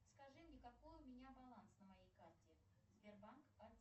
скажи мне какой у меня баланс на моей карте сбербанк